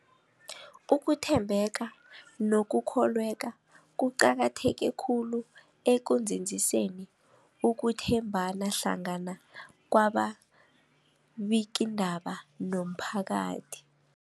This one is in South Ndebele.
Ukuthembeka nokukholweka kuqakatheke khulu ekunzinziseni ukuthembana hlangana kwababikiindaba nomphakathi.